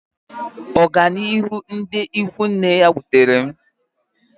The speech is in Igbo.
Ọganihu ndị ikwu nne ya wutere m.